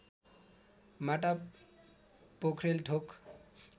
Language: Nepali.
माटा पोख्रेल थोक